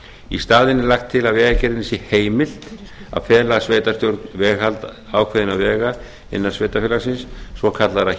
í staðinn er lagt til að vegagerðinni sé heimilt að fela sveitarstjórn veghald ákveðinna vega innan sveitarfélagsins svokallaðra